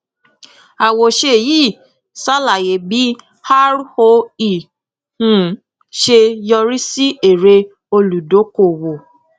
àwòṣe yìí ṣàlàyé bí roe um ṣe yọrí sí èrè olùdókòwò